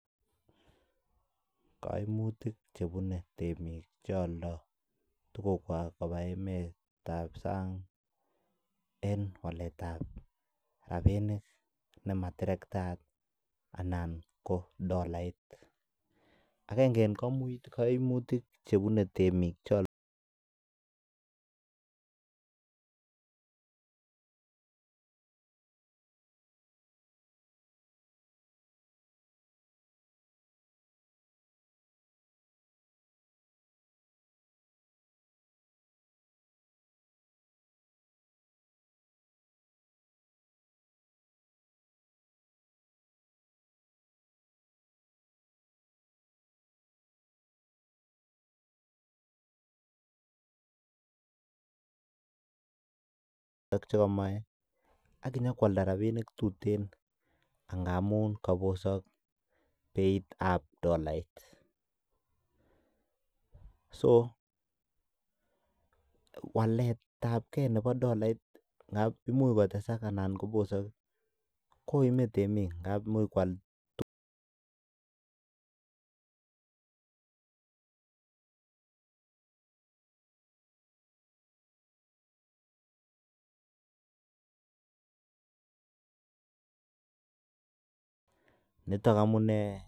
Kaimutik chebune temik che oldo tukukwak koba emet ab sang en waletab rabinik nema terkatayat anan ko dollait. Agenge en komutik chebune temik chon chekomoe ak konyikoalda rabinik tuten angamun kobosokbeit ab dollait. So walet abge nebo dollait, ngab imuch kotesak anan kobosok, koime temik ngab imuch niton amunee